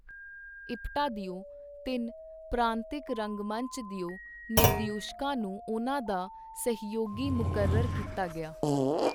ਇਪਟਾ ਦਿਓ ਤਿੰਨ ਪ੍ਰਾਂਤਿਕ ਰੰਗਮੰਚ ਦਿਓ ਨਿਰਦਿਓਸ਼ਕਾਂ ਨੂੰ ਉਹਨਾਂ ਦਾ ਸਹਿਯੋਗੀ ਮੁਕਰਰ ਕੀਤਾ ਗਿਆ.